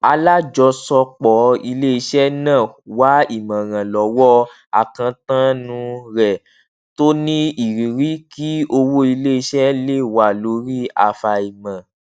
alájọsọpọ iléiṣẹ náà wá ìmọràn lọwọ akántáànù rẹ tó ní ìrírí kí owó iléiṣẹ le wà lórí afaimọ